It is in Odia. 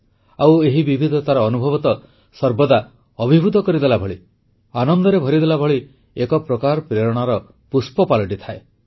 ଆଉ ଏହି ବିବିଧତାର ଅନୁଭବ ତ ସର୍ବଦା ଅଭିଭୂତ କରିଦେଲାଭଳି ଆନନ୍ଦରେ ଭରିଦେଲାଭଳି ଏକ ପ୍ରକାର ପ୍ରେରଣାର ଉତ୍ସ ପାଲଟିଥାଏ